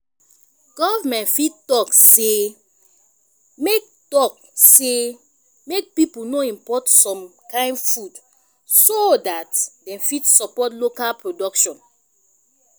government fit talk sey make talk sey make pipo no import some kind food soo dat dem fit support local production